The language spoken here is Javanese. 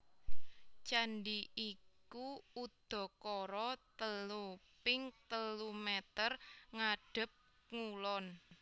Candhi iku udakara telu ping telu meter ngadhep ngulon